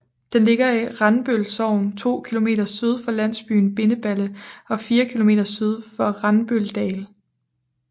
Den ligger i Randbøl Sogn 2 km syd for landsbyen Bindeballe og 4 km syd for Randbøldal